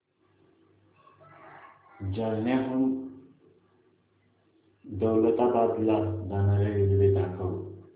जालन्याहून दौलताबाद ला जाणारी रेल्वे दाखव